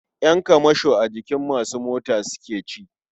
Ƴan kamasho a jikin masu mota suke ci.